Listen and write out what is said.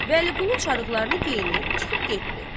Vəliqulu çarıqlarını geyinib çıxıb getdi.